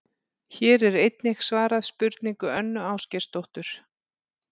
Hér er einnig svarað spurningu Önnu Ásgeirsdóttur: